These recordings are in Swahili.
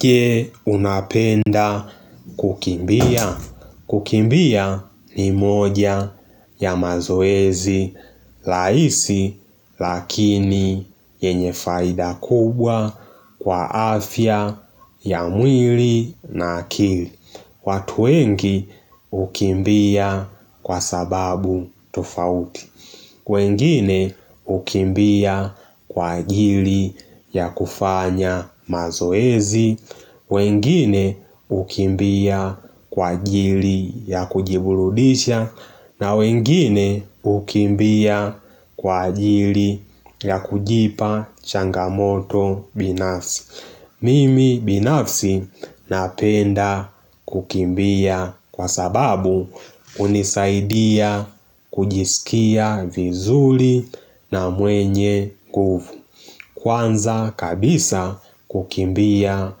Je unapenda kukimbia kukimbia ni moja ya mazoezi laisi Lakini yenye faida kubwa kwa afya ya mwili na akili Watuwengi ukimbia kwa sababu tofauti wengine ukimbia kwa ajili ya kufanya mazoezi wengine ukimbia kwa ajili ya kujibuludisha na wengine ukimbia kwa ajili ya kujipa changamoto binafsi Mimi binafsi napenda kukimbia kwa sababu unisaidia kujisikia vizuli na mwenye kwanza kabisa kukimbia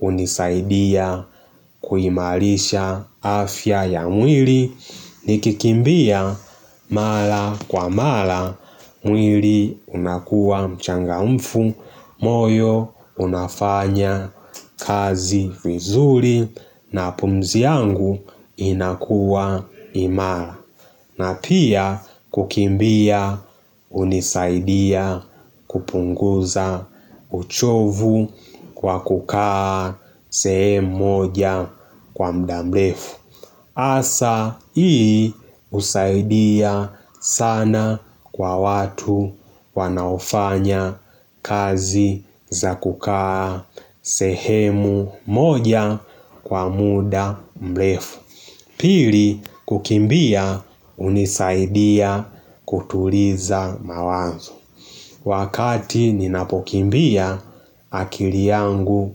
unisaidia kuhimalisha afya ya mwili nikikimbia mala kwa mala mwili unakuwa mchanga mfu moyo unafanya kazi vizuri na pumzi yangu inakuwa imara na pia kukimbia unisaidia kupunguza uchovu kwa kukaa sehemu moja kwa mdamlefu Asa ii usaidia sana kwa watu wanaofanya kazi za kukaa sehemu moja kwa muda mlefu. Pili kukimbia unisaidia kutuliza mawazo. Wakati ninapokimbia akili yangu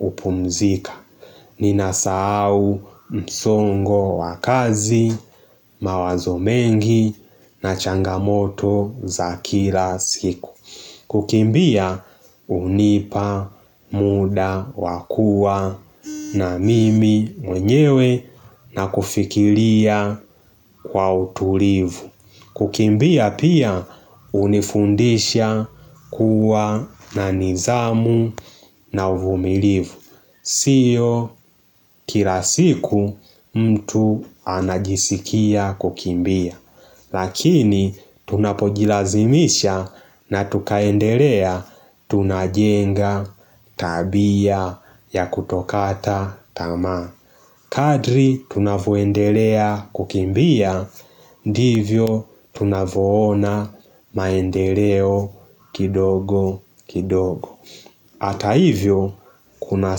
upumzika. Ninasahau msongo wakazi, mawazo mengi na changamoto za kila siku kukimbia unipa muda wakuwa na mimi mwenyewe na kufikilia kwa utulivu kukimbia pia unifundisha kuwa na nizamu na uvumilivu siyo kilasiku mtu anajisikia kukimbia Lakini tunapojilazimisha na tukaendelea tunajenga tabia ya kutokata tamaa Kadri tunavoendelea kukimbia ndivyo tunavoona maendeleo kidogo kidogo Hata hivyo kuna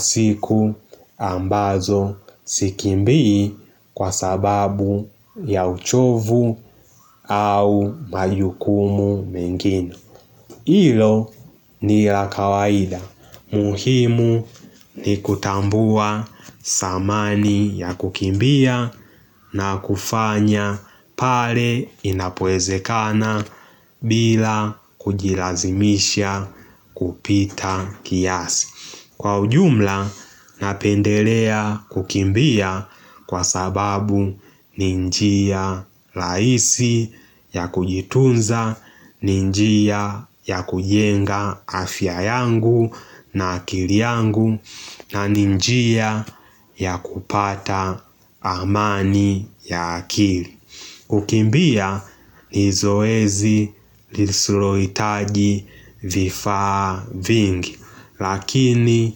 siku ambazo sikimbii kwa sababu ya uchovu au majukumu mengine Ilo ni la kawaida. Muhimu ni kutambua samani ya kukimbia na kufanya pale inapoeze kana bila kujilazimisha kupita kiasi. Kwa ujumla napendelea kukimbia kwa sababu ni njia laisi ya kujitunza, ninjia ya kujenga afya yangu na akili yangu na ninjia ya kupata amani ya akili Ukimbia ni zoezi lisuloitaji vifaa vingi Lakini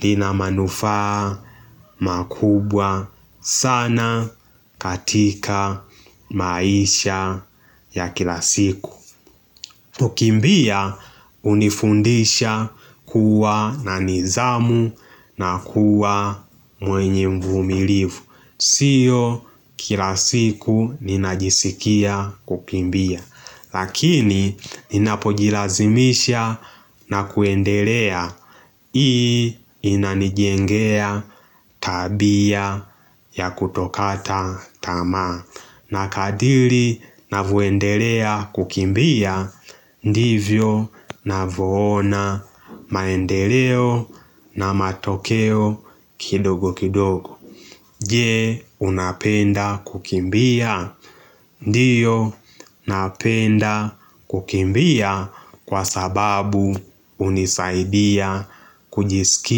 linamanufaa makubwa sana katika maisha ya kilasiku kukimbia unifundisha kuwa na nizamu na kuwa mwenye mvumilivu Sio kilasiku ninajisikia kukimbia Lakini ninapojilazimisha na kuendelea hii inanijengea tabia ya kutokata tamaa Nakadili navoendelea kukimbia Ndivyo navoona maendeleo na matokeo kidogo kidogo Je unapenda kukimbia Ndiyo napenda kukimbia kwa sababu unisaidia kujisiki.